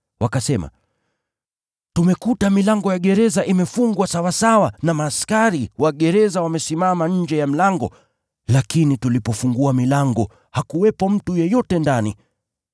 Wakasema, “Tumekuta milango ya gereza imefungwa sawasawa na askari wa gereza wamesimama nje ya mlango, lakini tulipofungua milango hakuwepo mtu yeyote ndani.”